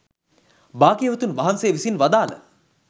භාග්‍යවතුන් වහන්සේ විසින් වදාළ